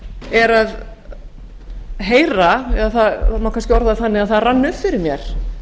er að heyra eða það má kannski orða það þannig að það rann upp fyrir mér